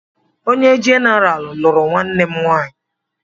Onye jenaraal lụrụ nwanne m nwaanyị.